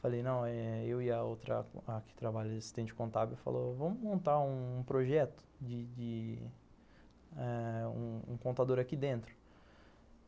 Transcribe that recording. Falei, não, eh... eu e a outra, a que trabalha de assistente contábil, falou, vamos montar um projeto de de um um contador aqui dentro.